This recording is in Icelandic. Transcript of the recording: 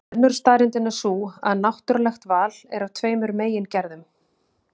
Önnur staðreyndin er sú að náttúrulegt val er af tveimur megin gerðum.